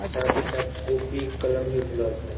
साथ ही साथ कॉपी कलम भी बुलाते है ।